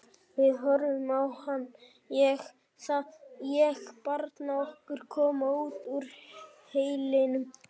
Við horfðum á hann og þaðan á barnið okkar koma út úr hellinum kalda.